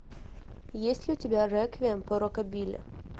есть ли у тебя реквием по рокабилли